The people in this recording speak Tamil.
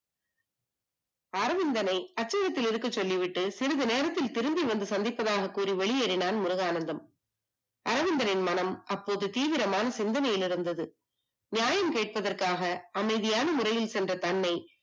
அரவிந்தனை அச்சகத்தில் இருந்து சொல்லிவிட்டு சிறிது நேரத்தில் வந்து சந்திப்பதாக கூறிச் சொல்லி வெளியேறினால் முருகானந்தம் அரவிந்தனின் மனம் இப்போது தீவிரமான சிந்தனையில் இருந்தது நியாயம் கேட்பதற்காக அமைதியாக முறையில் சென்ற எண்ணெய்